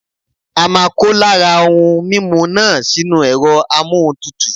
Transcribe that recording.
A máa kó lára ohun mímu náà sínú ẹ̀rọ amóhuntutù.